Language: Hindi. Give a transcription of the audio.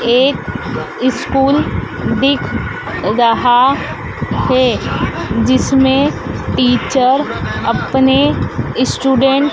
एक स्कूल दिख रहा है जिसमें टीचर अपने स्टूडेंट --